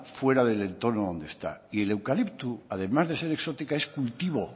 fuera del entorno donde está y el eucalipto además de ser exótica es cultivo